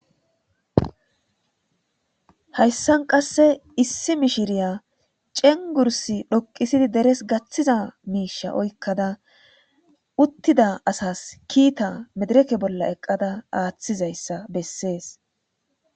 Hayssan qasse issi mishshria ceengurssa dhoqqisidi deres gaththiza mishsha oykkada utida asas kiita medirekke bolla eqqada aathizaysa besses.